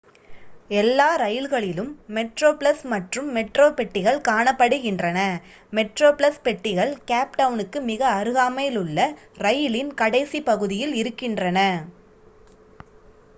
எல்லா ரயில்களிலும் மெட்ரோப்ளஸ் மற்றும் மெட்ரோ பெட்டிகள் காணப்படுகின்றன மெட்ரோப்ளஸ் பெட்டிகள் கேப் டவுணுக்கு மிக அருகாமைலுள்ள இரயிலின் கடைசிப் பகுதியில் இருக்கின்றன